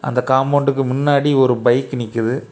அந்த காம்பவுண்டுக்கு முன்னாடி ஒரு பைக் நிக்குது.